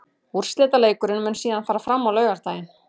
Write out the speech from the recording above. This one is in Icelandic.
Úrslitaleikurinn mun síðan fara fram á laugardaginn.